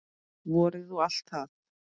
Vorið og allt það.